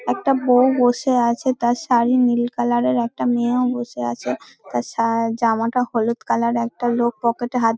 একটা বৌ বসে আছে তার শাড়ি নীল কালার -এর একটা মেয়েও বসে আছে তার সা-আ জামাটা হলুদ কালার -এর এর একটা লোক পকেট -এ হাত--